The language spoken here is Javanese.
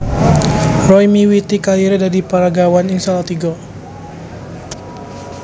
Roy miwiti kariré dadi peragawan ing Salatiga